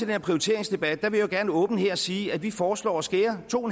her prioriteringsdebat vil jeg jo gerne åbent her sige at vi foreslår at skære to